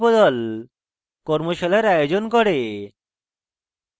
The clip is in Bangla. কর্মশালার আয়োজন করে